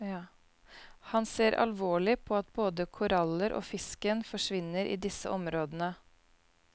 Han ser alvorlig på at både koraller og fisken forsvinner i disse områdene.